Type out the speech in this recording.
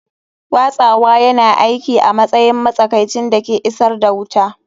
Watsawa yana aiki a matsayin matsakaicin da ke isar da wuta.